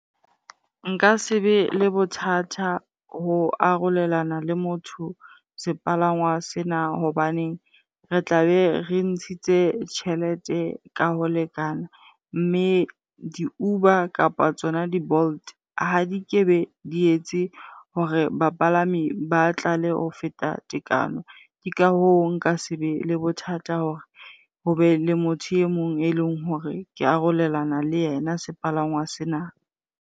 Nka se be le bothata ho arolelana le motho sepalangwang sena hobaneng re tla be re ntshitse tjhelete ka ho lekana mme di-Uber kapa tsona di-Bolt ha di kebe di etse hore bapalami ba tlale ho feta tekano. Ke ka hoo nka se be le bothata hore hobe le motho e mong e leng hore ke arolelana le yena sepalangwa sena.